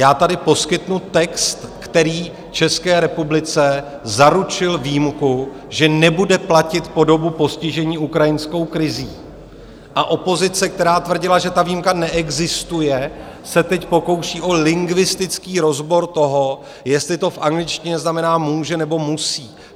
Já tady poskytnu text, který České republice zaručil výjimku, že nebude platit po dobu postižení ukrajinskou krizí, a opozice, která tvrdila, že ta výjimka neexistuje, se teď pokouší o lingvistický rozbor toho, jestli to v angličtině znamená může, nebo musí.